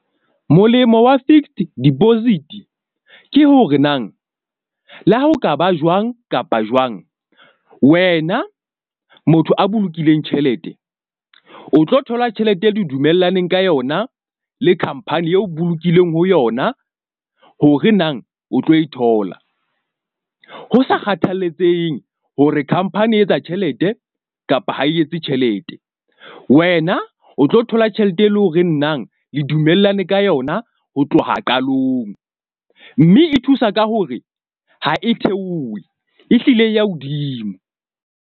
Molemo wa fixed deposit ke hore nang le ha ho ka ba jwang kapa jwang. Wena motho a bolokileng tjhelete, o tlo thola tjhelete eo le dumellaneng ka yona le khampani eo bolokileng ho yona hore nang o tlo e thola. Ho sa kgathalatsehe hore khampani e etsa tjhelete kapa ha e etse tjhelete, wena o tlo thola tjhelete, e leng hore nang le dumellane ka yona ho tloha qalong. Mme e thusa ka hore ha e theohe. Ehlile ya hodimo.